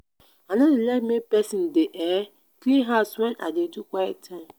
i no dey like make pesin dey um clean house wen i dey do quiet time.